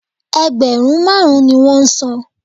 Ẹgbẹ̀rún máàrún ni wọn san